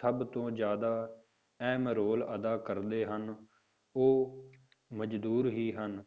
ਸਭ ਤੋਂ ਜ਼ਿਆਦਾ ਅਹਿਮ ਰੋਲ ਅਦਾ ਕਰਦੇ ਹਨ, ਉਹ ਮਜ਼ਦੂਰ ਹੀ ਹਨ